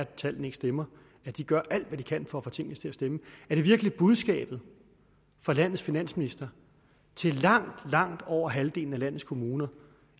tallene ikke stemmer at de gør alt hvad de kan for at få tingene til at stemme er det virkelig budskabet fra landets finansminister til langt langt over halvdelen af landets kommuner